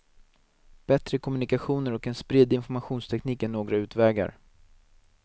Bättre kommunikationer och en spridd informationsteknik är några utvägar.